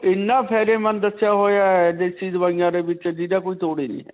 ਇੰਨਾ ਫ਼ਾਯਦੇਮੰਦ ਹੈ ਦੇਸੀ ਦਵਾਈਆਂ ਦੇ ਵਿੱਚ ਜਿਹੜਾ ਕਿ ਕੋਈ ਤੋੜ ਹੀ ਨਹੀਂ ਹੈ.